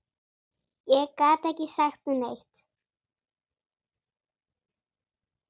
Ég gat ekki sagt neitt.